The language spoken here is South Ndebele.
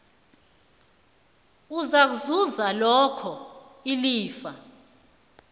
uzakuzuza loke ilifa